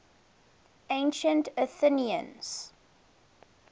ancient athenians